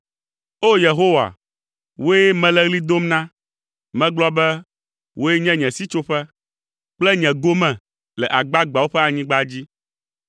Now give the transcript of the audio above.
O! Yehowa, wòe mele ɣli dom na. Megblɔ be, “Wòe nye nye sitsoƒe, kple nye gome le agbagbeawo ƒe anyigba dzi.”